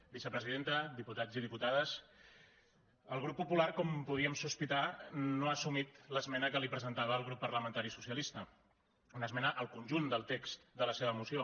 vicepresidenta diputats i diputades el grup popular com podíem sospitar no ha assumit l’esmena que li presentava el grup parlamentari socialista una esmena al conjunt del text de la seva moció